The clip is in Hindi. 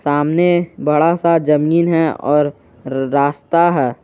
सामने बड़ा सा जमीन है और रास्ता है।